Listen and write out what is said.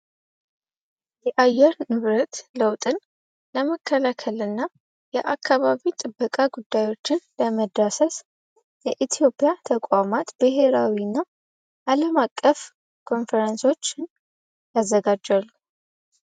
የአየር ንብረት ለውጥን ለመከላከል እና የአካባቢ ጥበቃ ጉዳዮችን ለመዳሰስ የኢትዮጵያ ተቋማት ብሄራዊ እና አለም አቀፍ ኮንፈረንሶችን ያዘጋጃል።